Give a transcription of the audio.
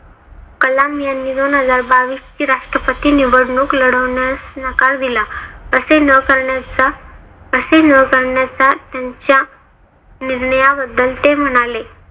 कलाम यांनी दोन हजार बावीसची राष्ट्रपती निवडणूक लढवण्यास नकार दिला. असे न करण्याच्या असे न करण्याच्या त्यांच्या निर्णयाबद्दल ते म्हणाले